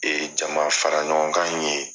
Ee jamafaraɲɔgɔnkan in ye